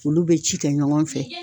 Olu be ci kɛ ɲɔgɔn fɛ